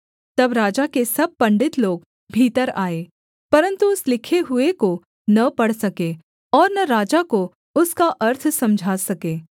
तब राजा के सब पंडित लोग भीतर आए परन्तु उस लिखे हुए को न पढ़ सके और न राजा को उसका अर्थ समझा सके